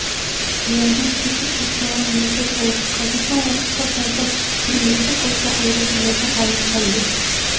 аяғын кесіп тастауға мәжбүр болды қазіргі уақытта зардап шеккен екі қыз да ауруханада ауыр халде